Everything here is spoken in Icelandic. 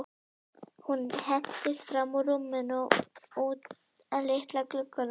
Hún hentist fram úr rúminu og út að litla glugganum.